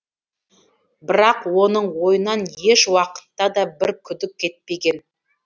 бірақ оның ойынан еш уақытта да бір күдік кетпеген